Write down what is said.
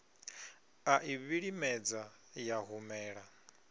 a i vhilimedza ya humela